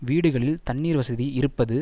வீடுகளில் தண்ணீர் வசதி இருப்பது